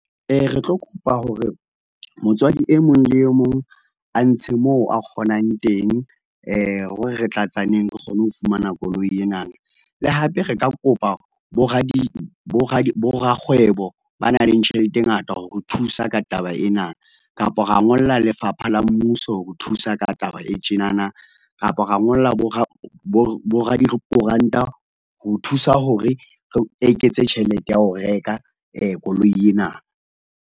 Re tlo kopa hore motswadi e mong le mong a ntshe moo a kgonang teng, hore re tlatsaneng, re kgone ho fumana koloi ena. Le hape re ka kopa bo rakgwebo ba nang le tjhelete e ngata, ho re thusa ka taba ena. Kapa ra ngolla lefapha la mmuso hore thusa ka taba e tjenana, kapa ra ngolla bo radikoranta ho thusa hore re eketse tjhelete ya ho reka koloi ena.